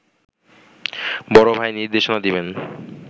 বড় ভাই নির্দেশনা দেবেন